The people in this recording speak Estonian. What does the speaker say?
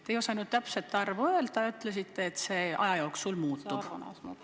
Te ei osanud täpset arvu öelda ja ütlesite, et see aja jooksul muutub.